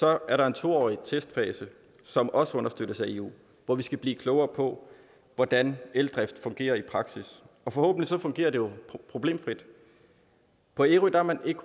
er der en to årig testfase som også understøttes af eu hvor vi skal blive klogere på hvordan eldrift fungerer i praksis og forhåbentlig fungerer det problemfrit på ærø er man ikke